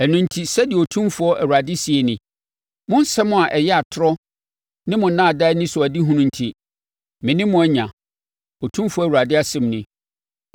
“Ɛno enti, sɛdeɛ Otumfoɔ Awurade seɛ nie: ‘Mo nsɛm a ɛyɛ atorɔ ne mo nnaadaa anisoadehunu enti, me ne mo anya’, Otumfoɔ Awurade asɛm nie.